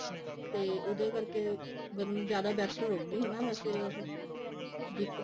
ਤੇ ਉਹਦੇ ਕਰਕੇ ਜਿਆਦਾ best ਰਹੂਗੀ ਹਨਾ ਵੈਸੇ ਉਹ zip